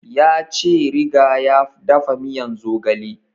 Ya ce riga ya dafa miyan zogale